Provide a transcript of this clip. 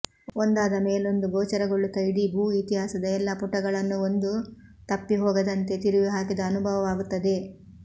ಒಂದಾದ ಮೇಲೊಂದು ಗೋಚರಗೊಳ್ಳುತ್ತ ಇಡೀ ಭೂ ಇತಿಹಾಸದ ಎಲ್ಲ ಪುಟಗಳನ್ನೂ ಒಂದೂ ತಪ್ಪಿಹೋಗದಂತೆ ತಿರುವಿ ಹಾಕಿದ ಅನುಭವವಾಗುತ್ತದೆ